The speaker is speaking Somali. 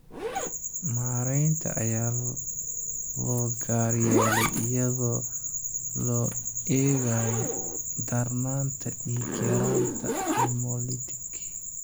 Maareynta ayaa loo gaar yeelay iyadoo loo eegayo darnaanta dhiig-yaraanta hemolytic.